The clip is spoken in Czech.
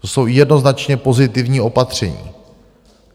To jsou jednoznačně pozitivní opatření.